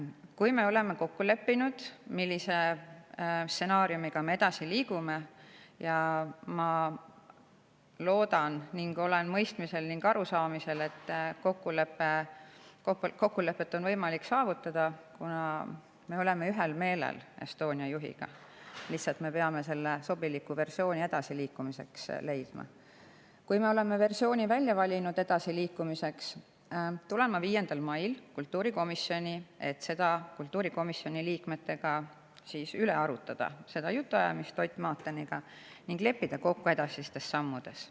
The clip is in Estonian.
Kui me oleme kokku leppinud, millise stsenaariumi alusel me edasi liigume – ma loodan ning olen mõistnud ning aru saanud, et kokkulepet on võimalik saavutada, kuna me oleme Estonia juhiga ühel meelel, me lihtsalt peame leidma edasiliikumiseks sobiliku versiooni –, siis tulen ma 5. mail kultuurikomisjoni, et seda jutuajamist Ott Maateniga kultuurikomisjoni liikmetega arutada ning leppida kokku edasistes sammudes.